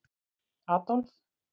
Adolf